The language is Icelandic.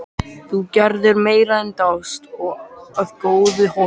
Þú gerðir meira en dást að góðu holdi.